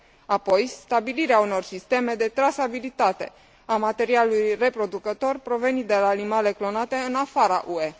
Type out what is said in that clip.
Apoi, stabilirea unor sisteme de trasabilitate a materialului reproducător provenit de la animale clonate în afara UE.